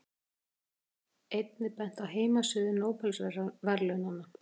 Einnig er bent á heimasíðu Nóbelsverðlaunanna.